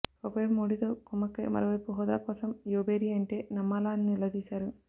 ఒకవైపు మోడీతో కుమ్మక్కై మరోవైపు హోదా కోసం యువభేరి అంటే నమ్మాలా అని నిలదీశారు